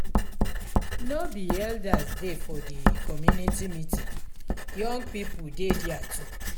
no be only elders dey for di community meeting young pipo dey their too.